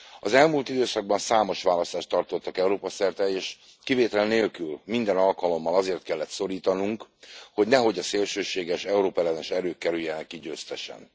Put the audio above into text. Az elmúlt időszakban számos választást tartottak Európa szerte, és kivétel nélkül, minden alkalommal azért kellet szorítanunk, hogy nehogy a szélsőséges, Európa ellenes erők kerüljenek ki győztesen.